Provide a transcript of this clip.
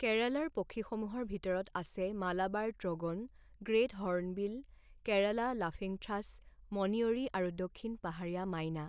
কেৰালাৰ পক্ষীসমূহৰ ভিতৰত আছে Malabar trogon, great hornbill, Kerala laughingthrush, মণিয়ৰি আৰু দক্ষিণ পাহাৰীয়া মাইনা।